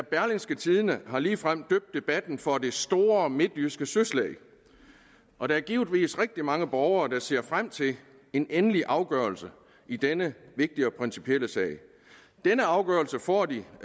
berlingske tidende har ligefrem døbt debatten for det store midtjyske søslag og der er givetvis rigtig mange borgere der ser frem til en endelig afgørelse i denne vigtige og principielle sag denne afgørelse får de